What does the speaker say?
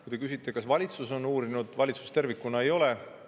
Kui te küsite, kas valitsus on seda uurinud, siis valitsus tervikuna ei ole.